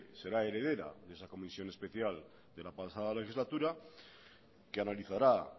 será heredera de esa comisión especial de la pasada legislatura que analizará